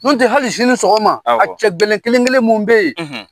Nɔntɛ hali sini sɔgɔma awɔ a cɛ gɛlɛn kelen-kelen mun be ye